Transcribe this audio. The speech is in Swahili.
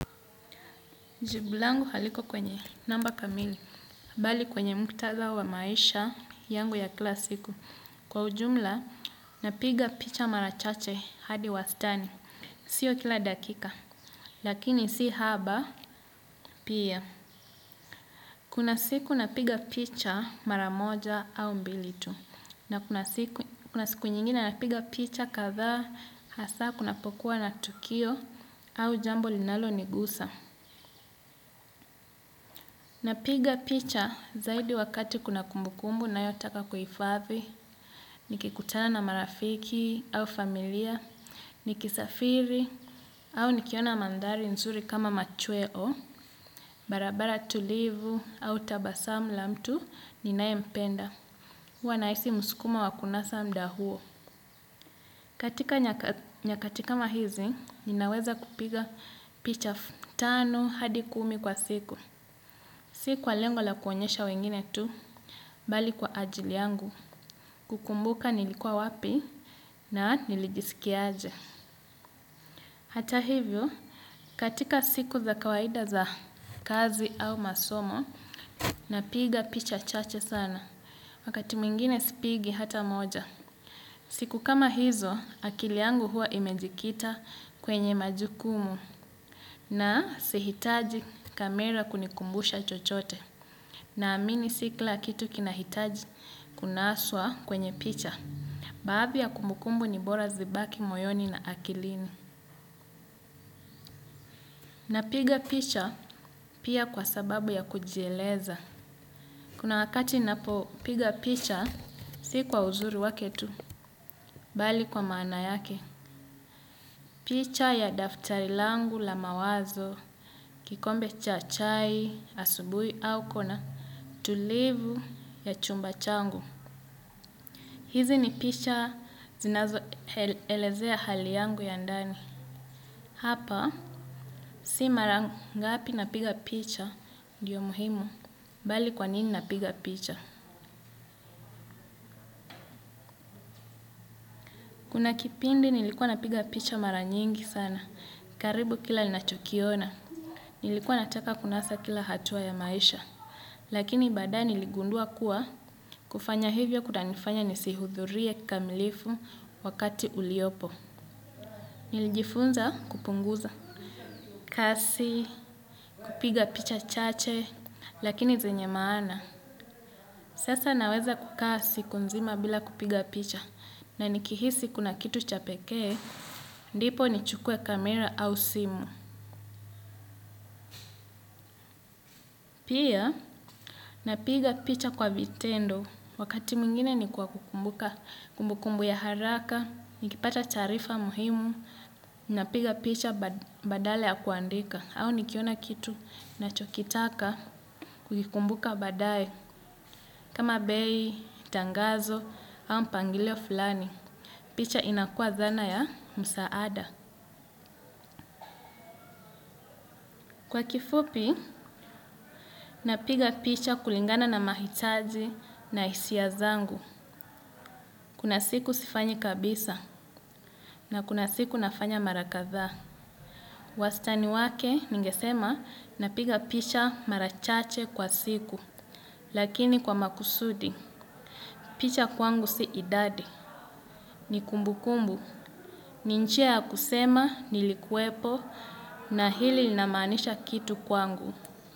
Jibu langu haliko kwenye namba kamili, bali kwenye muktadha wa maisha yangu ya kila siku. Kwa ujumla, napiga picha mara chache hadi wastani. Sio kila dakika, lakini si haba pia. Kuna siku napiga picha maramoja au mbilitu. Na kuna siku nyingine napiga picha kadhaa hasa kunapokuwa na tukio au jambo linalonigusa. Napiga picha zaidi wakati kuna kumbukumbu ninayotaka kuhifadhi, nikikutana na marafiki au familia, nikisafiri au nikiona mandhari nzuri kama machweo, barabara tulivu au tabasamu la mtu ninaye mpenda. Huwa nahisi msukumo wa kunasa muda huo. Katika nyakati kama hizi, ninaweza kupiga picha tano hadi kumi kwa siku. Si kwa lengo la kuonyesha wengine tu, bali kwa ajili yangu, kukumbuka nilikuwa wapi na nilijisikiaje. Hata hivyo, katika siku za kawaida za kazi au masomo, napiga picha chache sana; wakati mwingine sipigi hata moja. Siku kama hizo, akili yangu huwa imejikita kwenye majukumu na sihitaji kamera kunikumbusha chochote. Naamini si kila kitu kinahitaji kunaswa kwenye picha. Baadhi ya kumbukumbu ni bora zibaki moyoni na akilini. Napiga picha pia kwa sababu ya kujieleza. Kuna wakati napo piga picha si kwa uzuru wake tu, bali kwa maana yake. Picha ya daftari langu la mawazo, kikombe cha chai, asubuhi, au kona tulivu ya chumba changu. Hizi ni picha zinazoelezea hali yangu ya ndani. Hapa si mara ngapi napiga picha ndiyo muhimu bali kwa nini napiga picha. Kuna kipindi nilikuwa napiga picha mara nyingi sana. Karibu kila ninachokiona. Nilikuwa nataka kunasa kila hatua ya maisha. Lakini baadaye niligundua kuwa kufanya hivyo kunanifanya nisihudhurie kikamilifu wakati uliopo. Nilijifunza kupunguza kasi, kupiga picha chache, lakini zenye maana. Sasa naweza kukaa siku nzima bila kupiga picha. Na nikihisi kuna kitu cha pekee, ndipo nichukue kamera au simu. Pia, napiga picha kwa vitendo. Wakati mwingine ni kwa kukumbuka kumbukumbu ya haraka. Nikipata taarifa muhimu, napiga picha badala ya kuandika. Au nikiona kitu nachokitaka kukikumbuka baadae kama bei, tangazo au mpangilio fulani. Picha inakuwa zana ya msaada. Kwa kifupi, napiga picha kulingana na mahitaji na hisia zangu. Kuna siku sifanyi kabisa na kuna siku nafanya mara kadhaa. Wastani wake ningesema, napiga picha mara chache kwa siku. Lakini kwa makusudi, picha kwangu si idadi. Ni kumbukumbu, ni njia kusema nilikuwepo na hili linamaanisha kitu kwangu.